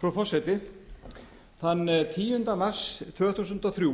frú forseti þann tíunda mars tvö þúsund og þrjú